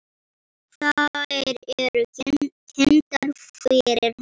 Þær eru kynntar fyrir honum.